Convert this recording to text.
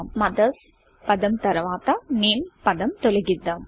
mothers పదం తర్వాత name పదం తొలగిద్దాం